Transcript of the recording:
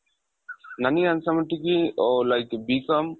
ನoಗೆ ಅನ್ಸೋ ಮಟ್ಟಿಗೆ ಓ like B.com